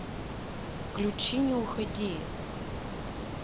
включи не уходи